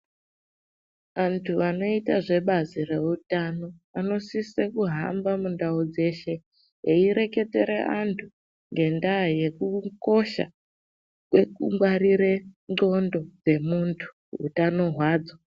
Antu anoita zvebazi reutano anosise kuhamba ndau dzeshe eirwketere antu ngendaa yekukosha kwekungwarire ndxondo dzemuntu utano hwadzo.